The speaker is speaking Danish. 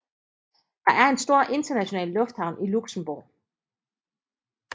Der er en stor international lufthavn i Luxembourg